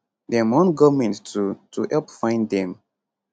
dem want government to to help find dem